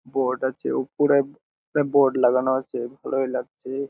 Board আছে উপরে একটা বোর্ড লাগানো আছে ভালোই লাগছে ।